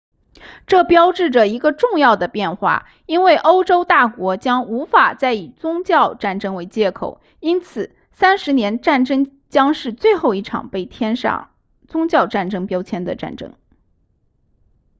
这标志着一个重要的变化因为欧洲大国将无法再以宗教战争为借口因此三十年战争将是最后一场被贴上宗教战争标签的战争